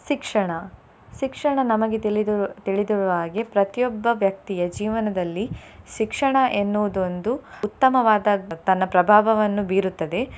ಶಿಕ್ಷಣ. ಶಿಕ್ಷಣ ನಮಗೆ ತಿಳಿದಿರು~ ತಿಳಿದಿರುವ ಹಾಗೆ ಪ್ರತಿಯೊಬ್ಬ ವ್ಯಕ್ತಿಯ ಜೀವನದಲ್ಲಿ ಶಿಕ್ಷಣ ಎನ್ನುವುದು ಒಂದು ಉತ್ತಮವಾದ ತನ್ನ ಪ್ರಭಾವವನ್ನು ಬೀರುತ್ತದೆ.